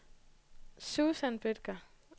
Susan Bødker